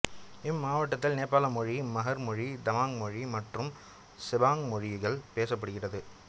இம்மாவட்டத்தில் நேபாள மொழி மஹர் மொழி தமாங் மொழி மற்றும் செபாங் மொழிகள் பேசப்படுகிறது